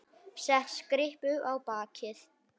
Set kryppu á bakið.